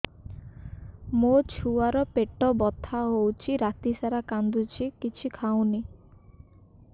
ମୋ ଛୁଆ ର ପେଟ ବଥା ହଉଚି ରାତିସାରା କାନ୍ଦୁଚି କିଛି ଖାଉନି